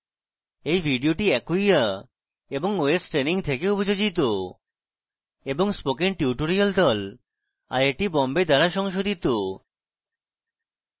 এই video acquia এবং ostraining থেকে অভিযোজিত এবং spoken tutorial প্রকল্প আইআইটি বোম্বে দ্বারা সংশোধিত